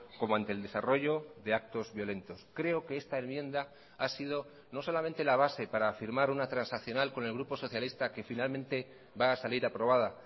como ante el desarrollo de actos violentos creo que esta enmienda ha sido no solamente la base para afirmar una transaccional con el grupo socialista que finalmente va a salir aprobada